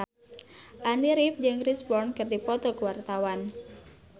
Andy rif jeung Chris Brown keur dipoto ku wartawan